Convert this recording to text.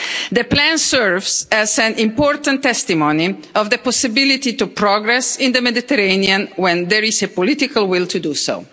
The plan serves as an important testimony of the possibility to progress in the Mediterranean when there is a political will to do so.